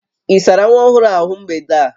Ị sárá nwa ọhụrụ a ahụ mgbede a?